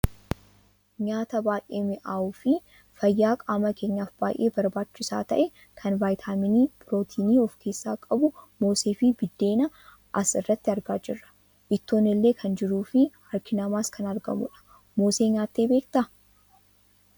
Nyaata baayyee mi'aawuufi fayyaa qaama keenyaaf baayyee barbaachisaa ta'e kan viitaaminii pirootiinii of keessaa qabu moosee fi buddeena as irratti argaa jirra. Ittoon illeen kan jiruufi harki namaas kan argamudha. Moosee nyaattee beektaa?